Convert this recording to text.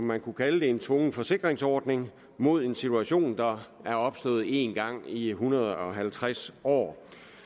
man kunne kalde en tvungen forsikringsordning mod en situation der er opstået én gang i en hundrede og halvtreds år